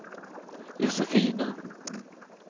Josefina